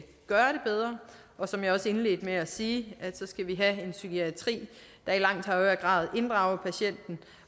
gøre det bedre som jeg også indledte med at sige skal vi have en psykiatri der i langt højere grad inddrager patienten